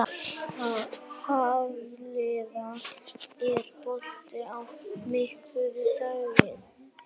Hafliða, er bolti á miðvikudaginn?